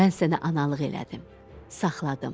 Mən sənə analıq elədim, saxladım.